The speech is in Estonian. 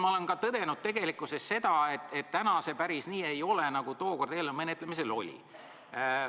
Ma olen tõdenud seda, et see päris nii ei ole, nagu tookord eelnõu menetlemisel tundus.